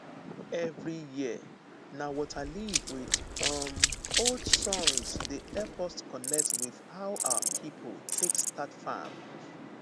every year na waterleaf with um old songs dey help us connect with how our people take start farm